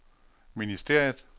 ministeriet